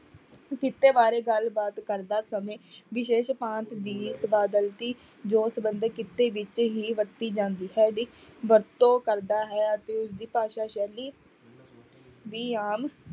ਕਿੱਤੇ ਬਾਰੇ ਗੱਲਬਾਤ ਕਰਦਾ ਸਮੇਂ ਵਿਸ਼ੇਸ਼ ਭਾਂਤ ਦੀ ਸਬਦਾਵਲੀ ਜੋ ਸੰਬੰਧ ਕਿੱਤੇ ਵਿੱਚ ਹੀ ਵਰਤੀ ਜਾਂਦੀ ਵਰਤੋਂ ਕਰਦਾ ਹੈ ਅਤੇ ਉਸਦੀ ਭਾਸ਼ਾ ਸ਼ੈਲੀ ਵੀ ਆਮ